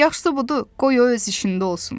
Yaxşısı budur, qoy o öz işində olsun.